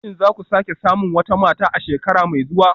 Shin za ku sake samun wata mata a shekara mai zuwa